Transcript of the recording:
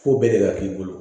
Fo bɛɛ de ka k'i bolo